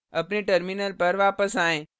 अपने terminal पर वापस आएँ